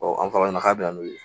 an faralen na k'a bɛ n'o ye